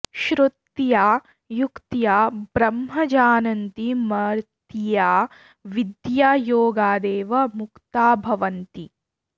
श्रुत्या युक्त्या ब्रह्म जानन्ति मर्त्या विद्यायोगादेव मुक्ता भवन्ति